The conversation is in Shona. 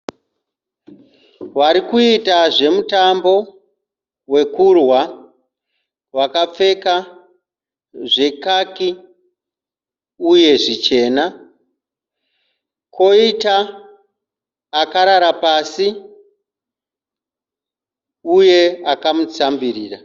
Vari kuita zvemutambo wekurwa vakapfeka zvekaki uye zvichena. Kwoita akarara pasi uye akamutsambirira.